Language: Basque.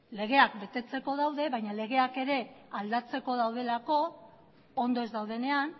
legeak betetzeko daude baina legeak ere aldatzeko daudelako ondo ez daudenean